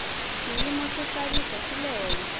xiyimo xo xavisa xi le hehla